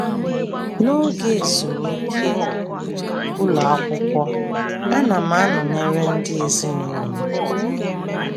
N’oge ezumike ụlọ akwụkwọ, ana m anọnyere ndị ezinụlọ m.